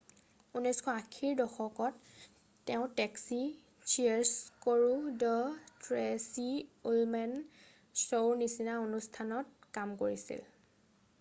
1980ৰ দশকত তেওঁ taxi cheers কৰো দ্য ট্ৰেচি উলমেন চৌৰ নিচিনা অনুষ্ঠানত কাম কৰিছিল